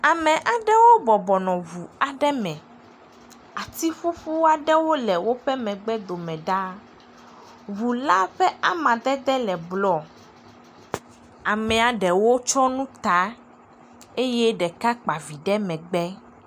Ame aɖewo bɔbɔ nɔ ŋu aɖe me. Ati ƒuƒu aɖe le woƒe megbe do me ɖaa. Ŋu la ƒe amadede le blu. Amea ɖewo tsɔ nu ta eye ɖeka kpa vi ɖe megbe.